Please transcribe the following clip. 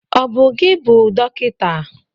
Ọ bụ gị bụ dọkịta?